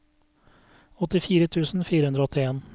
åttifire tusen fire hundre og åttien